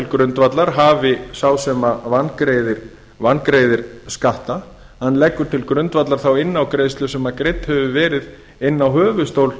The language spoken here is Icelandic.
að hafi sá sem vangreiðir skatta lagt inn á greiðslu sem greidd hefur verið inn á höfuðstól